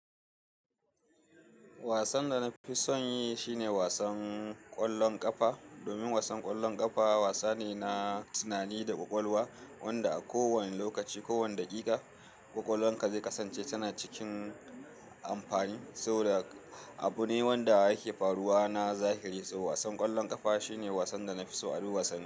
Wasan da na fi son yi shine wasan ƙwallon ƙafa, domin wasan ƙwallon ƙafa wasa ne na tunani da ƙwaƙwalwa wanda a kowane lokaci, kowane daƙiƙa, ƙwaƙwalanka zai kasance tana cikin amfani. Saboda abu ne wanda yake faruwa na zahiri, so wasan ƙwallon ƙafa shine wasan da na fi so a duk wasanni.